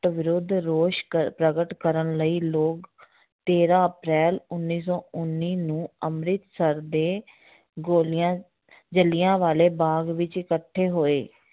ਵਿਰੁੱਧ ਰੋਸ਼ ਕਰ ਪ੍ਰਗਟ ਕਰਨ ਲਈ ਲੋਕ ਤੇਰਾਂ ਅਪ੍ਰੈਲ ਉੱਨੀ ਸੌ ਉੱਨੀ ਨੂੰ ਅੰਮ੍ਰਿਤਸਰ ਦੇ ਗੋਲੀਆਂ ਜਿਲ੍ਹਿਆਂ ਵਾਲੇ ਬਾਗ਼ ਵਿੱਚ ਇਕੱਠੇ ਹੋਏ